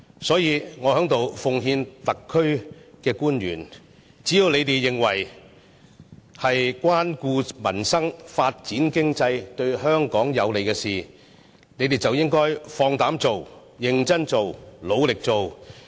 所以，我在此奉勸特區官員，只要是你們認為可以關顧民生、發展經濟、對香港有利的事情，便應放膽做、認真做、努力做。